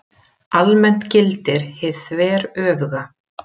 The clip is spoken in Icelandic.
Almennt gildir hið þveröfuga.